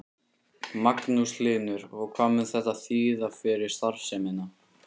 Magnús Hlynur: Og hvað mun þetta þýða fyrir starfsemina?